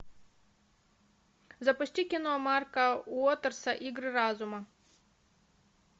запусти кино марка уотерса игры разума